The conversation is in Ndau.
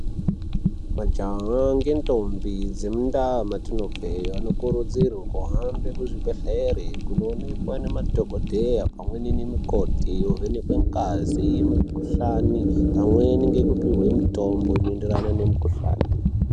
Majaha ngendombi dzemundaa mwetino bve anokurudzirwa kuhambe kuzvibhelere pamweni ne madhokodhera nanamukoti, kuvhenekwe ngazi mukuhlani pamwe nekupiwe mutombo uno enderana ne mukuhlani.